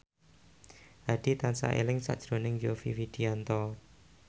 Hadi tansah eling sakjroning Yovie Widianto